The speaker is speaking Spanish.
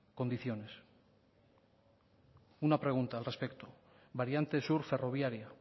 condiciones una pregunta al respecto variante sur ferroviaria